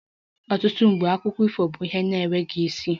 Ọtụtụ mgbe akụkọ ifo bụ ihe na-enweghị isi